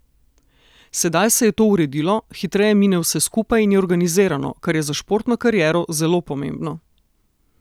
Sedaj se je to uredilo, hitreje mine vse skupaj in je organizirano, kar je za športno kariero zelo pomembno.